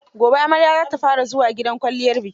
Gobe amarya za ta fara zuwa gidan kwalliyar biki.